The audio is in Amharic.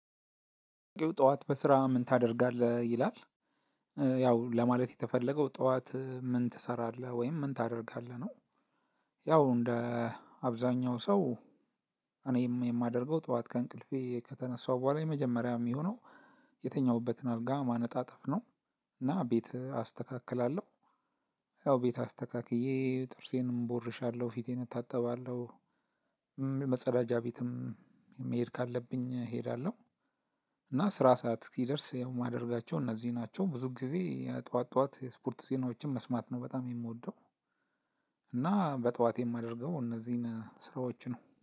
ጠዋት በስራ ምን ታደርጋለህ ይላል ያው ለማለት የተፈለገው ጠዋት ምን ትሰራለህ ወይም ምን ታደርጋለህ ነው? ያው እንደ አብዛኛው ሰው እኔም የማደርገው ጠዋት ከእንቅልፌ ከተነሳሁ በኋላ የመጀመሪያ የሚሆነው የተኛሁበትን አልጋ ማነጣጠፍ ነው። እና ቤት አስተካክላለሁ። ያው ቤት አስተካክዬ ጥርሴንም ቦርሻለሁ ፊቴን እታጠባለሁ። መጸዳጃ ቤትም መሄድ ካለብኝ እሄዳለሁ። እና ስራ ሰዓት እስኪደርስ ያው የማደርጋቸው እነዚህ ናቸው ብዙ ጊዜ ጠዋት ጠዋት ስፖርት ዜናዎችን መስማት ነው በጣም የምወደው። እና በጠዋት የማደርገው እነዚህን ስራዎች ነው